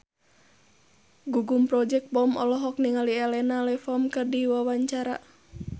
Gugum Project Pop olohok ningali Elena Levon keur diwawancara